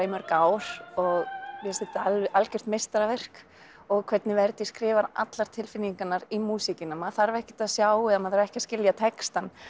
í mörg ár og finnst þetta algjört meistaraverk og hvernig Verdi skrifar allar tilfinningarnar í músíkina maður þarf ekkert að sjá eða maður þarf ekki að skilja textann